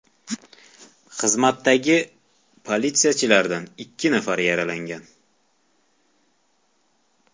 Xizmatdagi politsiyachilardan ikki nafari yaralangan.